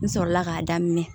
N sɔrɔla k'a daminɛ